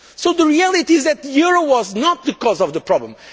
The reality is that the euro was not the cause of the problem.